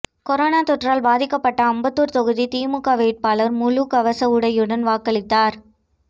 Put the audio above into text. corona தொற்றால் பாதிக்கப்பட்ட அம்பத்தூர் தொகுதி திமுக வேட்பாளர் முழு கவச உடையுடன் வாக்களித்தார்